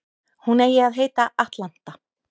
Hún eigi að heita Atlanta